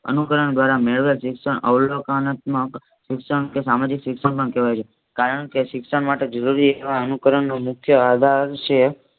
અનુકરણ દ્વારા મેળવેલ શિક્ષણ અવલોકનનાત્મ્ક શિક્ષણ કે સામાજિક શિક્ષણ પણ કહેવાય છે. કારણકે શિક્ષણ માત્ર જરૂરી એવા અનુકરણનો નો મુખ્ય આધાર છે.